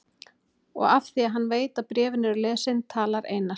Og af því að hann veit að bréfin eru lesin talar Einar